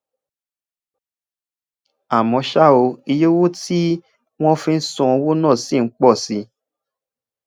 àmó ṣá o iye owó tí wón fi ń san owó náà ṣì ń pọ sí